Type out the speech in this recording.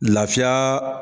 Lafiyaaa.